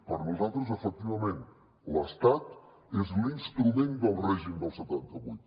per nosaltres efectivament l’estat és l’instrument del règim del setanta vuit